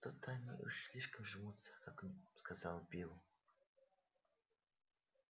что то они уж слишком жмутся к огню сказал билл